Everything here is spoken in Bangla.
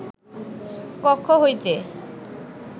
কক্ষ হইতে